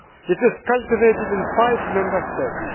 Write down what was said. It is cultivated in five Member States.